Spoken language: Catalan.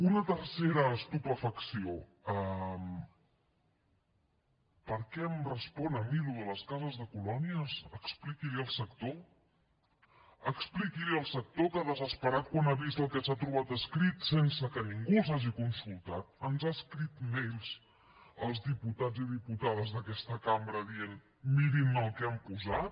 una tercera estupefacció per què em respon a mi allò de les cases de colònies expliqui ho al sector expliqui ho al sector que desesperat quan ha vist el que s’ha trobat escrit sense que ningú els hagi consultat ens ha escrit mails als diputats i diputades d’aquesta cambra dient mirin el que hi han posat